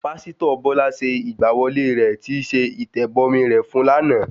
Pásítọ̀ Bọ́lá ṣe ìgbà wọlé rẹ̀ tíí ṣe ìtẹ̀bọmi rẹ̀ fún lánàá